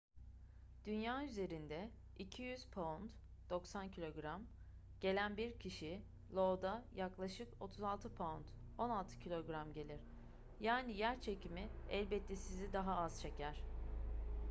dünya üzerinde 200 pound 90 kg gelen bir kişi io'da yaklaşık 36 pound 16kg gelir. yani yerçekimi elbette sizi daha az çeker